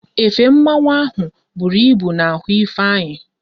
Efe mmanwu ahụ bụru ịbụ n'ahụ Ifeanyị